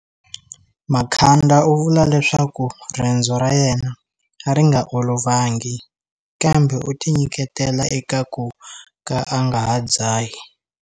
Makhanda u vula leswaku rendzo ra yena a ri nga olovangi, kambe u tinyiketela eka ku ka a nga ha dzahi.